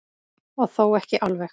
Og þó ekki alveg.